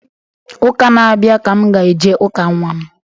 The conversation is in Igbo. Ụka na-abịa ka m ga-eje ụka nnwa.